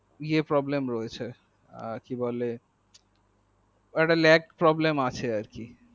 নিয়ে problem রয়েছে এ কি বলে একটা lag problem রয়েছে